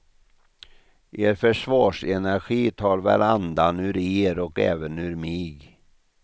Er försvarsenergi tar väl andan ur er och även ur mig.